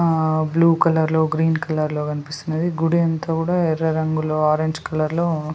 blue colour లో green colour లో కనిపిస్తున్నది గుడి అంతా కూడా ఎర్ర రంగులో ఆరెంజ్ కలర్ లో --